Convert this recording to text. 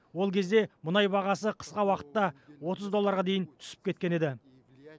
ол кезде мұнай бағасы қысқа уақытта отыз долларға дейін түсіп кеткен еді